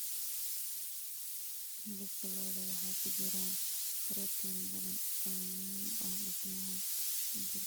Hilibka lo'da waxaa ku jira borotiin badan oo muhiim u ah dhismaha jirka.